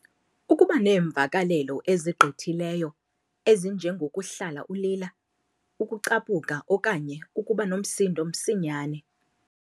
Ukuba neemvakalelo ezigqithileyo, ezinjengo kuhlala ulila, ukucaphuka okanye ukuba nomsindo msinyane.